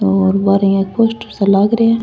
और हमारे यहाँ पोस्टर सा लाग रे है।